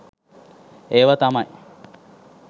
ඒව තමයි